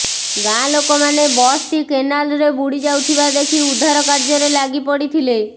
ଗାଁ ଲୋକମାନେ ବସ୍ଟି କେନାଲ୍ରେ ବୁଡ଼ି ଯାଉଥିବା ଦେଖି ଉଦ୍ଧାର କାର୍ଯ୍ୟରେ ଲାଗି ପଡ଼ିଥିଲେ